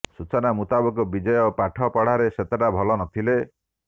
ସୂଚନା ମୁତାବକ ବିଜୟ ପାଠ ପଢ଼ାରେ ସେତେଟା ଭଲ ନଥିଲେ